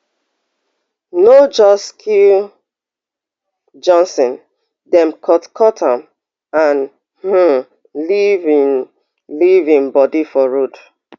no just kill johnson dem cutcut am and um leave im leave im body for road